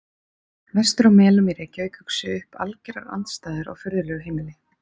Vestur á Melum í Reykjavík uxu upp algerar andstæður á furðulegu heimili.